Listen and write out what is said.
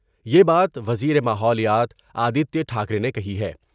یہ بات وزیر ماحولیات آدتیہ ٹھا کرے نے کہی ہے ۔